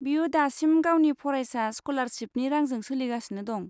बियो दासिम गावनि फरायसा स्क'लारशिपनि रांजों सोलिगासिनो दं।